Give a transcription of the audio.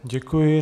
Děkuji.